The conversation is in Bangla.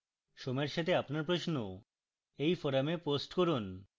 সময়ের সাথে আপনার প্রশ্ন এই forum post করুন